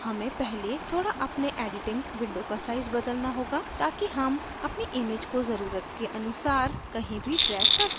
हमें पहले थोडा अपने editing window का size बदलना होगा ताकि हम अपनी image को जरूरत अनुसार कहीं भी drag कर सकें